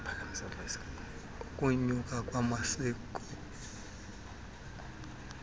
ukunyuka kwesakhono samaziko